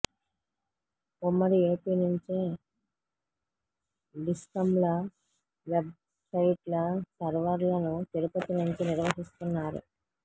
ఉమ్మడి ఏపీ నుంచే డిస్కంల వెబ్సైట్ల సర్వర్లను తిరుపతి నుంచి నిర్వహిస్తున్నారు